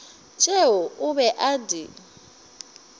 tšeo o be a di